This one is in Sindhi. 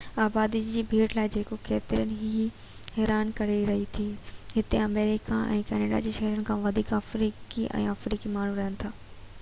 آبادي جي ڀيٽ لاءِ جيڪو ڪيترن کي ئي حيران ڪري ٿي هتي آمريڪا ۾ ڪينيڊا جي شهرين کان وڌيڪ آفريڪي ۽ آمريڪي ماڻهو رهن ٿا